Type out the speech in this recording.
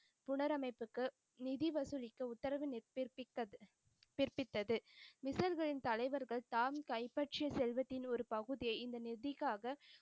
புனரமைப்புக்கு நிதி வசூலிக்க உத்தரவு பிறப்பித்த பிறப்பித்தது, மிசர்களின் தலைவர்கள் தாம் கைப்பற்றிய செல்வத்தின் ஒரு பகுதியை இந்த நிதிக்காக,